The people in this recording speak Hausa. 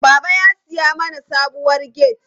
Baba ya siya mana sabuwar gate.